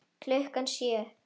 Klukkan sjö.